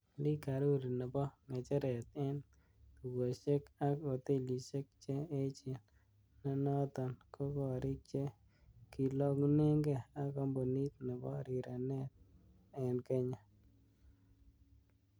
Lee karuri, nebo ngecheret en tugosiek ak hotelisiek che echen, nenoton ko gorik che kilongunenge ak kompunit nebo rirenet en Kenya.